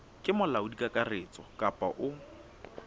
ke molaodi kakaretso kapa o